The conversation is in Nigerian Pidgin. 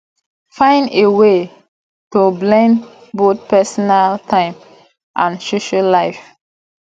find a way to blend both personal time and social life